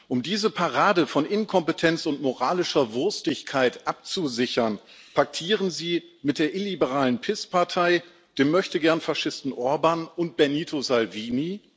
Um diese Parade von Inkompetenz und moralischer Wurstigkeit abzusichern, paktieren Sie mit der illiberalen PiS Partei sowie den Möchtegernfaschisten Orbán und Benito Salvini?